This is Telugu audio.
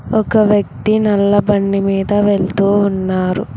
ఒక వ్యక్తి నల్ల బండి మీద వెళుతూ ఉన్నారు.